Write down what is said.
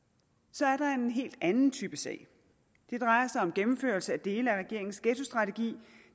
så er der en helt anden type sag det drejer sig om gennemførelse af dele af regeringens ghettostrategi